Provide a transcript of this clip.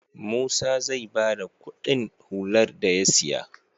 Musa zai bada Ƙudin hular da ya siya